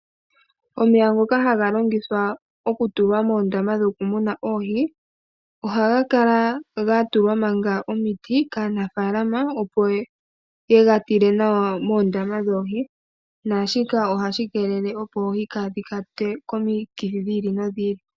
Omeya ngoka haga longithwa okutulwa moondama muna oohi ohaga kala gatulwa manga omiti kaanafaalama opo yega tile nawa moondama dhoohi naashika ohashi keelele opo oohi kadhi kwatwe komikithi dhi ili nodhi ili.